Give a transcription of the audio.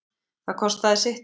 Það kostaði sitt